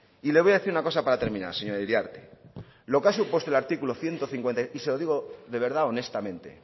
y le voy a decir una cosa para terminar señora iriarte lo que ha supuesto el artículo ciento cincuenta y cinco y se lo digo de verdad honestamente